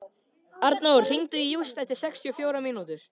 Arnór, hringdu í Júst eftir sextíu og fjórar mínútur.